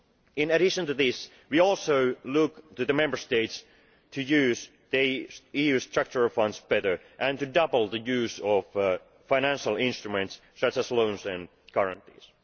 In addition to this, we also look to the Member States to use their EU Structural Funds better and to double the use of financial instruments such as loans and guarantees.